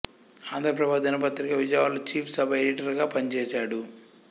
ఆంధ్రప్రభ దినపత్రిక విజయవాడలో chief sub editor గా పనిచేశాడు